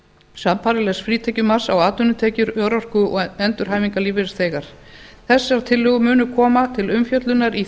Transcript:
sambærilegs frítekjumarks á atvinnutekjur örorku og endurhæfingarlífeyrisþega þessar tillögur munu koma til umfjöllunar í